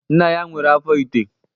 Nna ya nwere afọ ite?